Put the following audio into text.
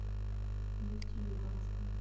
нефтеюганском